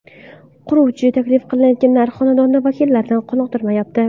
Quruvchi taklif qilayotgan narx xonadon vakillarini qoniqtirmayapti.